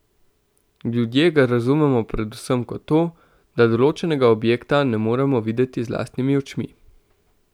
Ljudje ga razumemo predvsem kot to, da določenega objekta ne moremo videti z lastnimi očmi.